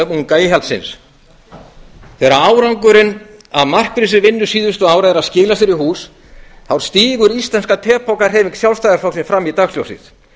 unga íhaldsins þegar árangurinn af markvissri vinnu síðustu ára að skila sér hús þá stígur íslenska tepoka hreyfing sjálfstæðisflokksins fram í dagsljósið